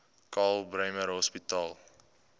karl bremer hospitaal